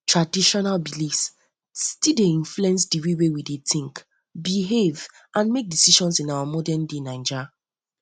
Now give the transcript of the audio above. traditional beliefs still dey influence the way wey we wey we think behave and make decisions in our modernday naija